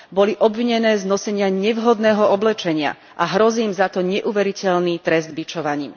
Boli obvinené z nosenia nevhodného oblečenia a hrozí im za to neuveriteľný trest bičovaním.